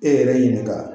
E yɛrɛ ɲini ka